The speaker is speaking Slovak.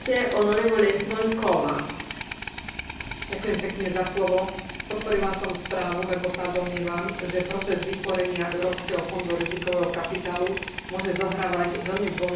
Podporila som správu, lebo sa domnievam, že proces vytvorenia Európskeho fondu rizikového kapitálu môže zohrávať veľmi dôležitú úlohu pri rozširovaní prístupu malých a stredných podnikov k financiám.